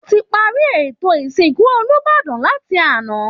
Wọ́n ti parí ètò ìsìnkú olúbàdàn láti àná